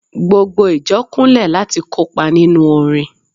gbogbo ìjọ Kunle lati kopa ninu orin